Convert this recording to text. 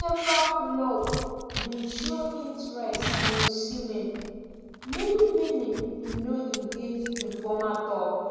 several club bin show interest in osimhen many many bin no engage in formal tok.